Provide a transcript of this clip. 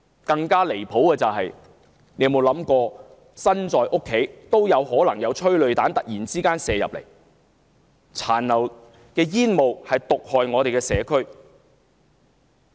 更離譜的是，市民即使身在家中也遭殃，催淚彈可能突然射進屋內，殘留的煙霧亦毒害社區。